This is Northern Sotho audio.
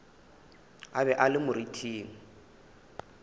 a be a le moriting